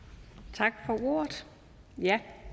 tak